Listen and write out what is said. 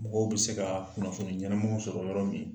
Mɔgɔw bi se ka kunnafoni ɲɛnamaw sɔrɔ yɔrɔ min